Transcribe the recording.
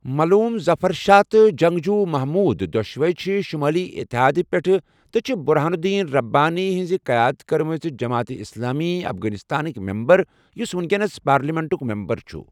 ملوٗم ظَفَر شَاہ تہٕ جَنٛگجوٗ محموٗد دۄشوٕے چھِ'شُمٲلی اتحاد' پیٹھٕ تہٕ چھِ بُرہان الدین رَبانی ہٕنٛز قیادت کٔرمٕژ جمعیت اسلامی افغانستانٕک مَمبر یُس وٕنکینَس پارلیمنٹُک مَمبر چھُ ۔